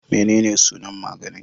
Menene sunan maganin?